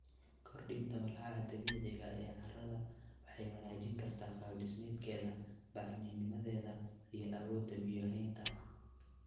Kordhinta walxaha dabiiciga ah ee carrada waxay wanaajin kartaa qaab-dhismeedkeeda, bacrinnimadeeda, iyo awoodda biyo-haynta.